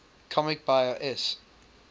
comics buyer s